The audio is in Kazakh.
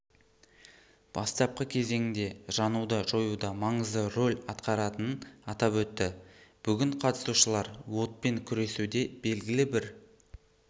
бастапқы кезеңінде жануды жоюда маңызды роль атқаратынын атап өтті бүгін қатысушылар отпен күресуде белгілі бір